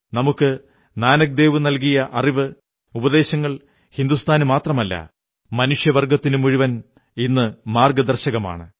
ഗുരു നാനക്ദേവ് നല്കിയ അറിവ് ഉപദേശങ്ങൾ ഹിന്ദുസ്ഥാന് മാത്രമല്ല മനുഷ്യവർഗ്ഗത്തിന് മുഴുവൻ ഇന്നു മാർഗ്ഗദർശകമാണ്